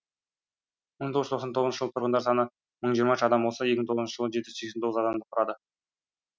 мың тоғыз жүз тоқсан тоғызыншы жылы тұрғындар саны мың жиырма үш адам болса екі мың тоғызыншы жылы жеті жүз сексен тоғыз адамды құрады